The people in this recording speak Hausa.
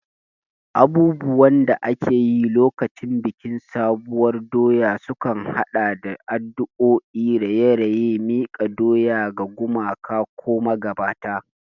Abubuwan da ake yi lokacin bikin sabuwar doya sukan haɗa da addu'o'i, raye-raye, miƙa doya ga gumaka ko magabata.